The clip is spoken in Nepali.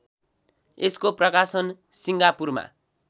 यसको प्रकाशन सिङ्गापुरमा